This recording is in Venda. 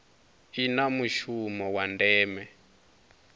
i na mushumo wa ndeme